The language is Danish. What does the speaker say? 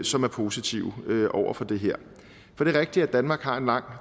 som er positive over for det her for det er rigtigt at danmark har en lang